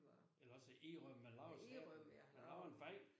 Eller også at indrømme man laver ***uforståeligt** man laver en fejl